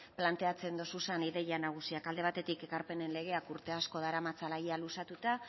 planteatzen dituzun ideia nagusiak alde batetik ekarpenen legeak urte asko daramatzala ia luzatuta